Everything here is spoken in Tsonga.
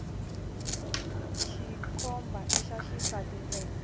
tikhomba ita xisati ntsena